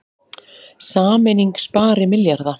Sameining spari milljarða